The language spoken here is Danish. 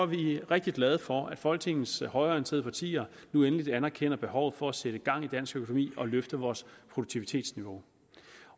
vi rigtig glade for at folketingets højreorienterede partier nu endelig anerkender behovet for at sætte gang i dansk økonomi og løfte vores produktivitetsniveau